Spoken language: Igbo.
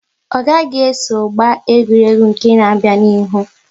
Ọ gaghị eso gba egwuregwu nke n'abia na ihu!